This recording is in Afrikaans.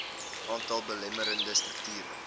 aantal belemmerende strukture